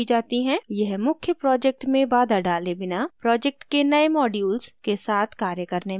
यह मुख्य project में बाधा डाले बिना project के नए modules के साथ कार्य करने में मदद करता है